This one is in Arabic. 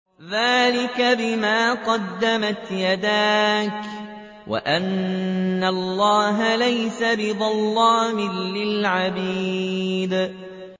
ذَٰلِكَ بِمَا قَدَّمَتْ يَدَاكَ وَأَنَّ اللَّهَ لَيْسَ بِظَلَّامٍ لِّلْعَبِيدِ